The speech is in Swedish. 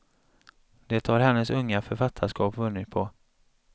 Det har hennes unga författarskap vunnit på.